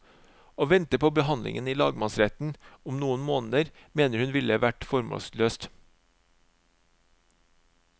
Å vente på behandlingen i lagmannsretten om noen måneder, mener hun ville vært formålsløst.